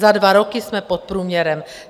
Za dva roky jsme pod průměrem.